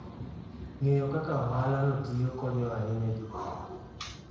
Ng'eyo kaka ohalano tiyo konyo ahinya jopur.